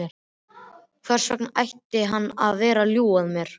Hvers vegna ætti hann að vera að ljúga að mér?